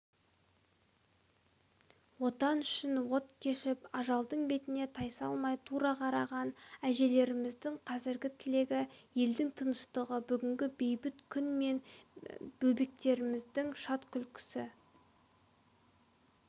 отан үшін от кешіп ажалдың бетіне тайсалмай тура қараған әжелеріміздің қазіргі тілегі елдің тыныштығы бүгінгі бейбіт күн мен бөбектердің шат күлкісі